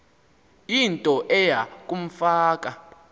into eya kumfaka